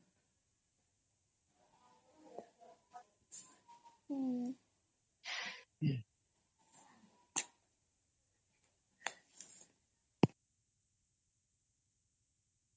noise